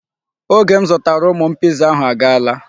Oge m zụtara ụmụ m Piza ahụ agaala.